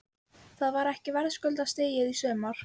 Þetta var ekki verðskuldaðasta stigið í sumar?